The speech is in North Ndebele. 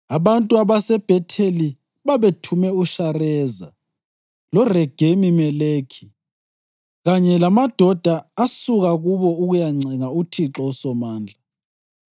Abantu baseBhetheli babethume uShareza loRegemi-Meleki, kanye lamadoda asuka kubo ukuyancenga uThixo uSomandla